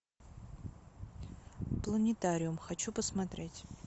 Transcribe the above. планетариум хочу посмотреть